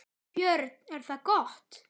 Björn: Er það gott?